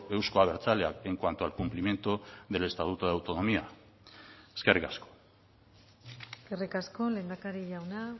euzko abertzaleak en cuanto al cumplimiento del estatuto de autonomía eskerrik asko eskerrik asko lehendakari jauna